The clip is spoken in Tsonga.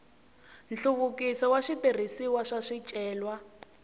nhluvukiso wa switirhisiwa swa swicelwa